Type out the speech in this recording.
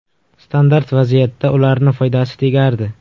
Standart vaziyatda ularni foydasi tegardi.